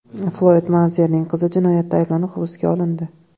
Floyd Meyvezerning qizi jinoyatda ayblanib hibsga olindi.